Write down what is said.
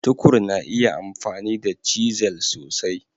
Tukur na iya amfani da cisel sosai.